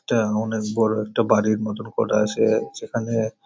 এটা অনেক বড় একটা বাড়ির মতন করা আছে যেখানে --